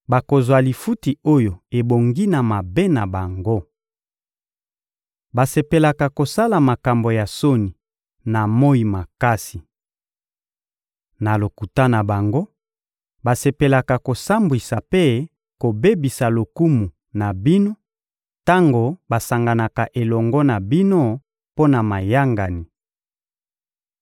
bakozwa lifuti oyo ebongi na mabe na bango. Basepelaka kosala makambo ya soni na moyi makasi. Na lokuta na bango, basepelaka kosambwisa mpe kobebisa lokumu na bino tango basanganaka elongo na bino mpo na mayangani.